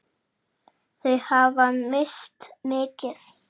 Þau hafa misst mikið.